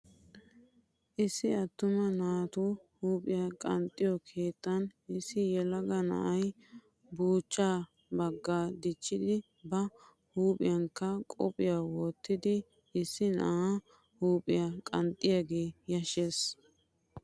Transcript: Issi attuma naatu huuphiya qanxxiyo keettan issi yelaga na'ay buuchchaa baagaa dichchidi ba huuphiyankka qophiya wottidi issi na'aa huuphiya qanxxiyagee yashshes.